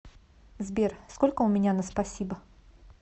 сбер сколько у меня на спасибо